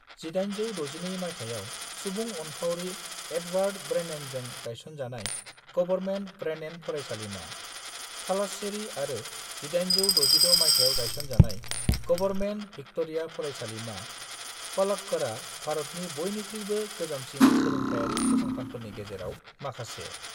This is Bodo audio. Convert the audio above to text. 1862 मायथाइयाव सुबुं अनफावरि एडवार्ड ब्रेननजों गायसनजानाय गभर्नमेन्ट ब्रेनन फरायसालिमा, थालास्सेरी आरो 1866 मायथाइयाव गायसनजानाय गभर्नमेन्ट भिक्ट'रिया फरायसालिमा, पलक्कड़आ, भारतनि बयनिख्रुयबो गोजामसिन सोलोंथायारि फसंथानफोरनि गेजेराव माखासे।